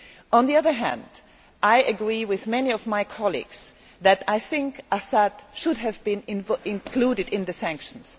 On the other hand, I agree with many of my colleagues that Assad should have been included in the sanctions.